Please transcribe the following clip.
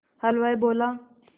हलवाई बोला